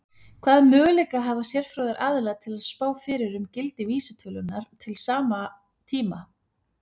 Hvaða möguleika hafa sérfróðir aðilar til að spá fyrir um gildi vísitölunnar til sama tíma?